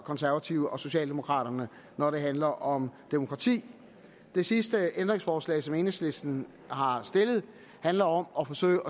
konservative og socialdemokraterne når det handler om demokrati det sidste ændringsforslag som enhedslisten har stillet handler om at forsøge